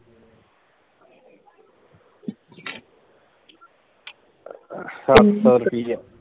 ਸੱਤ ਸੋ ਰੁਪਿਆ